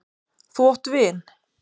Þú átt vin!